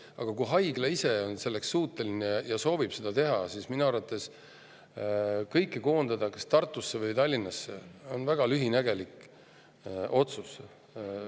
Aga kui haigla ise on selleks suuteline ja soovib seda teha, siis kõike koondada kas Tartusse või Tallinnasse on minu arvates väga lühinägelik otsus.